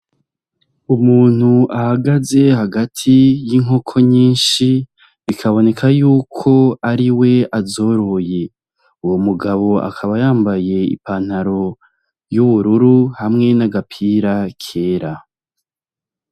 Umuntu ahagaze hagati y'inkoko nyishi ,bikaboneka yuko ariwe azoroye, uwo mugabo akaba yambaye ipantaro y'ubururu hamwe n'agapira kera..